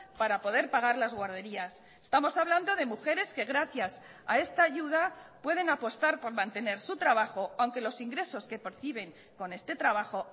para poder pagar las guarderías estamos hablando de mujeres que gracias a esta ayuda pueden apostar por mantener su trabajo aunque los ingresos que perciben con este trabajo